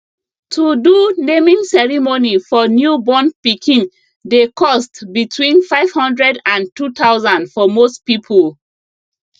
to do naming ceremony for new born pikin dey cost between 500 and 2000 for most people